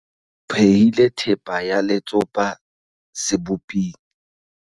O phehile thepa ya letsopa seboping.